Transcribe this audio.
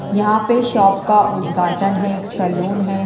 यहाँ पे शॉप का उद्घाटन है एक सलून है।